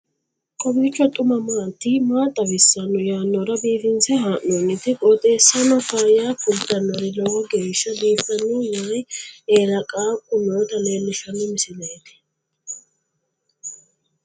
kowiicho xuma mtini maa xawissanno yaannohura biifinse haa'noonniti qooxeessano faayya kultannori lowo geeshsha biiffanno wayi eela qaaqu noota leellishshanno misileeti